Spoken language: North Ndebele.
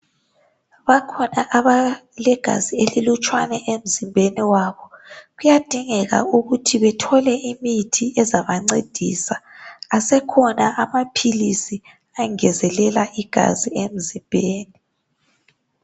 bakhona abalegazi elilutshwane emzimbeni wabo kuyadingeka ukuthi bethole imithi ezabancedisa asekhona amaphilisi angezelela igazi emzimbeni